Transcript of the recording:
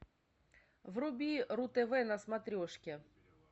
вруби ру тв на смотрешке